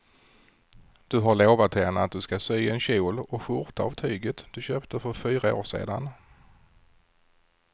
Du har lovat henne att du ska sy en kjol och skjorta av tyget du köpte för fyra år sedan.